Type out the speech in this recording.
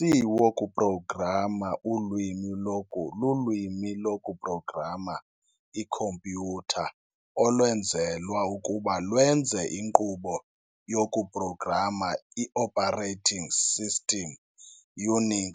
U-C woku-programa ulwimi loku-lulwimi loku-progama ikhompyutha olwenzelwa ukuba lwenze inkqubo yoku-programa i-operating system UNIX